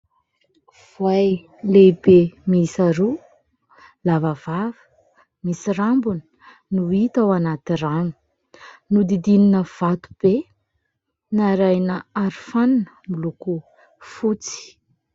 Voay lehibe miisa roa lava vava, misy rambony no hita ao anaty rano. Nodidinina vato be narahina arofanina miloko fotsy.